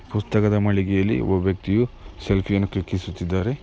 ಪುಸ್ತಕದ ಮಳಿಗೆಯಲ್ಲಿ ಒಬ್ಬ ವ್ಯಕ್ತಿಯು ಸೆಲ್ಫಿ ಯನ್ನು ಕ್ಲಿಕ್ಕಿ ಸುತ್ತಿದ್ದಾರೆ .